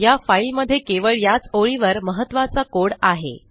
या फाईलमध्ये केवळ याच ओळीवर महत्त्वाचा कोड आहे